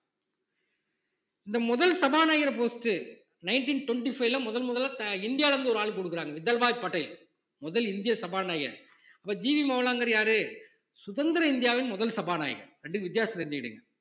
இந்த முதல் சபாநாயகர் post nineteen twenty five ல முதன் முதலா த~இந்தியால இருந்து ஒரு ஆளுக்கு கொடுக்குறாங்க விதல்பாய் படேல் முதல் இந்திய சபாநாயகர் அப்போ ஜி வி மோகலாங்கர் யாரு சுதந்திர இந்தியாவின் முதல் சபாநாயகர் இரண்டுக்கும் வித்தியாசத்தை தெரிஞ்சுகுடுங்க